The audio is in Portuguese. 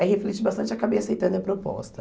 Aí refleti bastante e acabei aceitando a proposta.